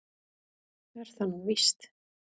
Er það nú víst?